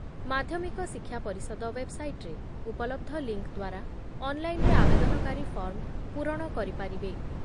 ମାଧ୍ୟମିକ ଶିକ୍ଷା ପରିଷଦ ୱେବ୍‌ସାଇଟ୍‌ରେ ଉପଲବ୍ଧ ଲିଙ୍କ୍ ଦ୍ଵାରା ଅନ୍‌ଲାଇନ୍‌ରେ ଆବେଦନକାରୀ ଫର୍ମ ପୂରଣ କରିପାରିବେ ।